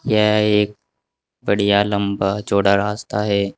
यह एक बढ़िया लंबा चौड़ा रास्ता है।